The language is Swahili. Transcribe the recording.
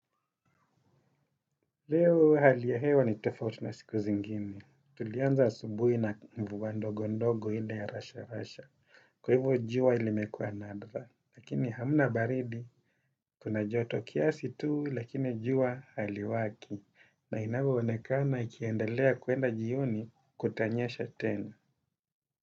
Leo haliya hewa ni tofauti na siku zingine. Tulianza asubui na mvua ndogo ndogo ile ya rasha rasha. Kwa hivyo jua ilimekua nadra. Lakini hamna baridi, kuna joto kiasi tuu lakini jua haliwaki. Na inavyoonekana ikiendelea kuenda jioni kutanyesha tena.